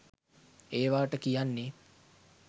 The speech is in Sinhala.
ඒවාට කියන්නේ